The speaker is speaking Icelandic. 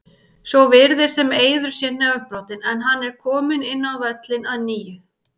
Svo virðist sem Eiður sé nefbrotinn, en hann er kominn inn á völlinn að nýju.